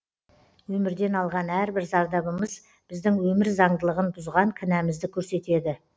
өмірден алған әрбір зардабымыз біздің өмір заңдылығын бұзған кінәмізді көрсетеді